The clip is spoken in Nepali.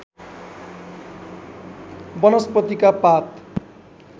वनस्पतिका पात